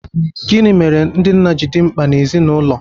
Gịnị mere ndị nna ji dị mkpa n’ezinụlọ?